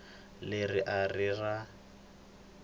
leri a ri ri ra